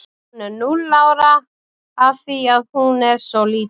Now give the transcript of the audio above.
Hún er núll ára af því að hún er svo lítil.